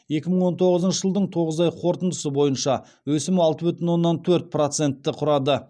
екі мың он тоғызыншы жылдың тоғыз ай қорытындысы бойынша өсім алты бүтін оннан төрт процентті құрады